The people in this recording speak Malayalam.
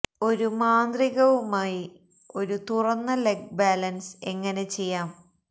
ഒരു മാന്ത്രിക വുമായി ഒരു തുറന്ന ലെഗ് ബാലൻസ് എങ്ങനെ ചെയ്യാം